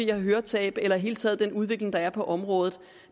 høretab eller i det hele taget den udvikling der er på området